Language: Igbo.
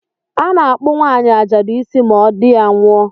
A na-akpụ nwaanyi ajadụ isi ma di ya nwụọ